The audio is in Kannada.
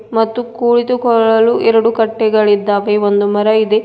ಮತ್ತು ಕುಳಿತುಕೊಳ್ಳಲು ಎರಡು ಕಟ್ಟೆಗಳಿದ್ದಾವೆ ಒಂದು ಮರ ಇದೆ.